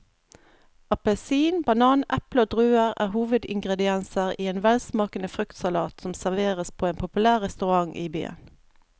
Appelsin, banan, eple og druer er hovedingredienser i en velsmakende fruktsalat som serveres på en populær restaurant i byen.